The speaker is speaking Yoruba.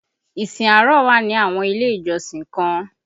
Ìsìn àárọ̀ wà ni àwọn ilé ìjọsìn kan